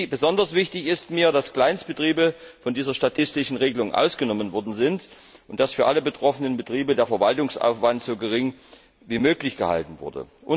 Besonders wichtig ist mir, dass Kleinstbetriebe von dieser statistischen Regelung ausgenommen worden sind und dass für alle betroffenen Betriebe der Verwaltungsaufwand so gering wie möglich gehalten wurde.